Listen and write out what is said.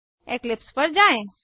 Eclipse पर जाएँ